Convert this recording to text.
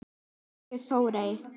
Elsku Þórey.